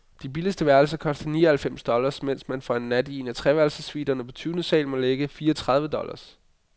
De billigste værelser koster ni og halvfems dollars, mens man for en nat i een af treværelsessuiterne på tyvende sal må lægge fire tredive dollars.